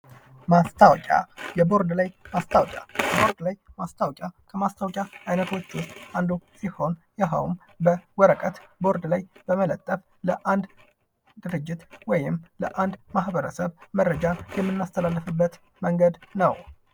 ማስታወቂያ የቦርድ ላይ ማስታወቂያ የቦርድ ላይ ማስታወቂያ ከማስታወቂያ አይነቶች ዉስጥ አንዱ ሲሆን ይሄውም በወረቀት ቦርድ በመለጠፍ ለአንድ ድርጅት ወይም ለአንድ ማህበረሰብ መረጃ የምናስተላልፍበት ነው::